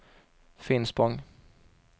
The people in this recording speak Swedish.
Finspång